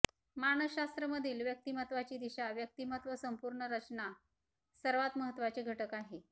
मानसशास्त्र मधील व्यक्तिमत्वाची दिशा व्यक्तिमत्व संपूर्ण रचना सर्वात महत्वाचे घटक आहे